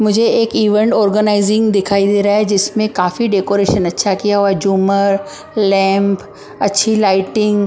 मुझे एक event organising दिखाई दे रहा है जिसमें काफी डेकोरेशन अच्छा किया हुआ है झूमर लैंप अच्छी लाइटिंग --